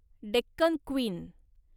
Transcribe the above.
Deccan queen